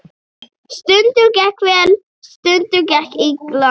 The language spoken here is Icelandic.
Stundum gekk vel, stundum illa.